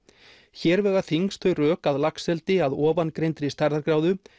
hér vega þyngst þau rök að laxeldi að ofangreindri stærðargráðu